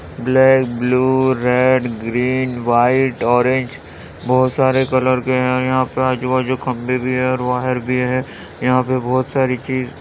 black blue red green white orange बहोत सारे colour के है यहाँ पे आजु बाजु खम्बे भी है और वायर भी है यहाँ पे बहोत सारी चीज --